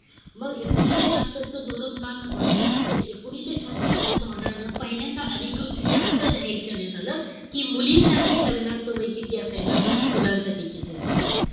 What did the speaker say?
मग एकोणीशे शहात्तरच धोरण का महत्वाचंय. तर एकोणीशे शहात्तरच्या धोरणानं पहिल्यांदा अधिकृतरित्या असं जाहीर करण्यात आलं. मुलींसाठी लग्नाचं वय किती असायला हवं आणि मुलांसाठी किती असायला हवं.